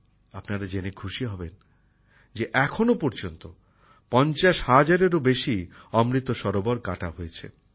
আপনারা জেনে খুশি হবেন যে এখনও পর্যন্ত ৫০ হাজারেরও বেশি অমৃত সরোবর কাটা হয়েছে